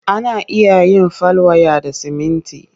Ana iya yin fal waya da siminti.